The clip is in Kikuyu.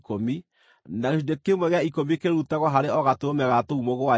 na gĩcunjĩ kĩmwe gĩa ikũmi kĩrutagwo harĩ o gatũrũme ga tũu mũgwanja.